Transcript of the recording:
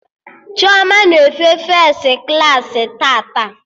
Chioma na-efe fes klaasị tata